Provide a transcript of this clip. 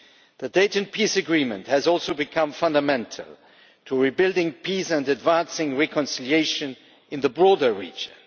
The Dayton Peace Agreement has also become fundamental to rebuilding peace and advancing reconciliation in the broader region.